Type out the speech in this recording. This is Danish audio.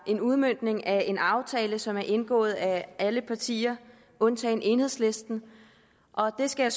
en udmøntning af en aftale som er indgået af alle partier undtagen enhedslisten og det skal